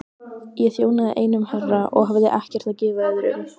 Ég þjónaði einum herra og hafði ekkert að gefa öðrum.